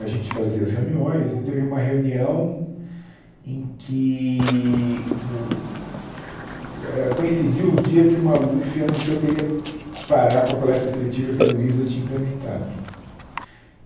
A gente fazia as reuniões e teve uma reunião em que o...eh coincidiu o dia em que o Maluf anunciou que ele ia parar com a coleta seletiva que a Luiza tinha implementado.